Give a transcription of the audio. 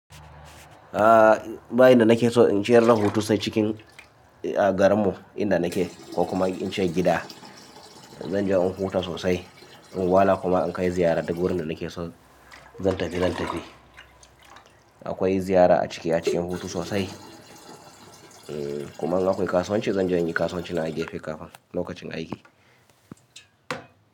A ba in da nake so in ciyar da hoto sai cikin a garinmu inda nake ko kuma in ce gida. Zan je in huta sosai, in wala kuma in kai ziyara duk wurin da nake so zan tafi zan tafi. Akwai ziyara a cike a cikin hutu sosai. Kuma in akwai kasuwanci zan je in yi kasuwanci na a gefe kafin lokacin aiki.